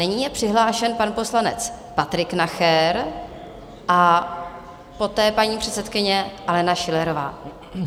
Nyní je přihlášen pan poslanec Patrik Nacher a poté paní předsedkyně Alena Schillerová.